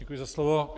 Děkuji za slovo.